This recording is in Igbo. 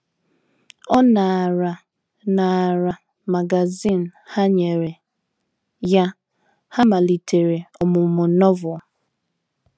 Ọ naara naara magazin ha nyere ya, ha malitere ọmụmụ Novel.